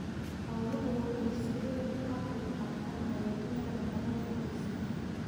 Xooluhu waxay si weyn uga qaybqaataan hagaajinta nafaqada qoyska.